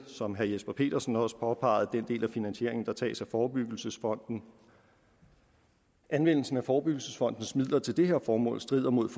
som herre jesper petersen også påpegede den del af finansieringen der tages af forebyggelsesfonden anvendelsen af forebyggelsesfondens midler til det her formål strider mod